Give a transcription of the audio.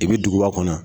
I bi duguba kɔnɔ